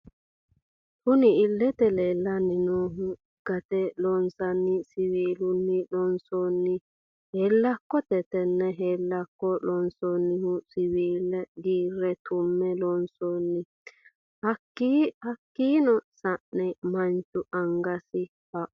Kunni illete leelani noohu gate loosinanni siwiilunni loonsonni heelakotte tenne heelakko lonsoonihu siwiila giire tu'me loonsoni hakiino sa'eena Manchu angasi haqqu ....